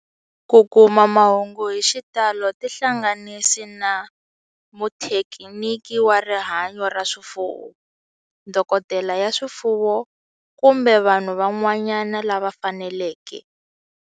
Ku kuma mahungu hi xitalo tihlanganisi na muthekiniki wa rihanyo ra swifuwo, dokodela ya swifuwo, kumbe vanhu van'wana lava faneleke.